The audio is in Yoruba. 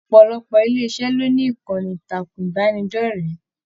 Ọpọlọpọ ilé iṣẹ lo ní ìkànnì ìtàkùn ìbánidọ̀rẹ̀.